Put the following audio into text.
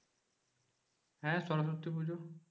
হ্যাঁ সরস্বতী পুজো।